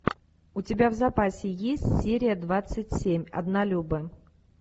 у тебя в запасе есть серия двадцать семь однолюбы